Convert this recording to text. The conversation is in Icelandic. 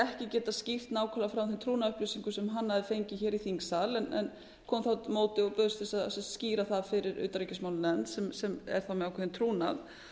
ekki geta skýrt nákvæmlega frá þeim trúnaðarupplýsingum sem hann hafði fengið hér í þingsal en kom þá á móti og bauðst til að skýra það fyrir utanríkismálanefnd sem er þá með ákveðinn trúnað